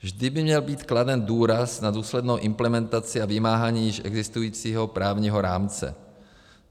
Vždy by měl být kladen důraz na důslednou implementaci a vymáhání již existujícího právního rámce.